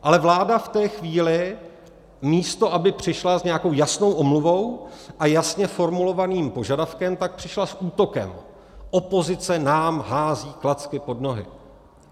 Ale vláda v té chvíli, místo aby přišla s nějakou jasnou omluvou a jasně formulovaným požadavkem, tak přišla s útokem: Opozice nám hází klacky pod nohy!